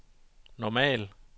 normal